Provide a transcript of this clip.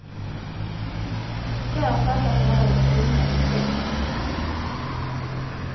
Där fattas alla de tunga besluten.